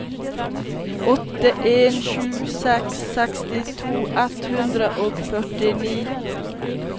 åtte en sju seks sekstito ett hundre og førtini